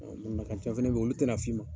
ca be yen olu tɛna f'i ma.